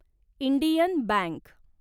Indian bank